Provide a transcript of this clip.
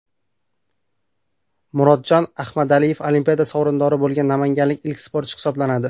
Murodjon Ahmadaliyev Olimpiada sovrindori bo‘lgan namanganlik ilk sportchi hisoblanadi.